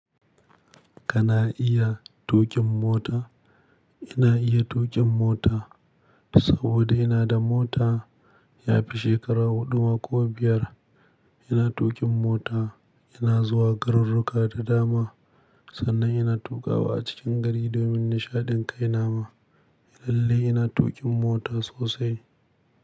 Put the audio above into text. Kana iya tuƙin mota? Ina iya tuƙin mota saboda ina da mota. Yafi shekara huɗu ma ko biyar ina tuƙin mota. Ina zuwa garuruka da dama, sannan ina tuƙawa a cikin gari domin nishaɗin kai nama. Lalle ina tuƙin mota sosai.